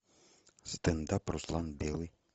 стендап руслан белый